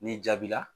Ni jaabi la